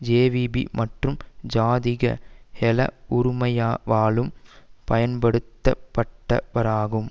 JVP மற்றும் ஜாதிக ஹெல உறுமயவாலும் பயன்படுத்தப்பட்டவராகும்